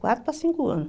Quatro para cinco anos.